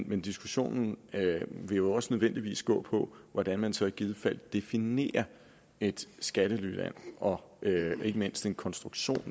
men diskussionen vil jo også nødvendigvis gå på hvordan man så i givet fald definerer et skattelyland og ikke mindst en konstruktion